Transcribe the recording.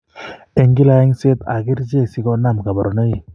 Eng' kila eng'seet ak kercheek sikonaam kaborunoik